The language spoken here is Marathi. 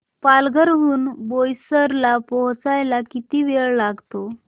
पालघर हून बोईसर ला पोहचायला किती वेळ लागतो